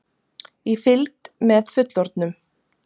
Í fylgd með fullorðnum!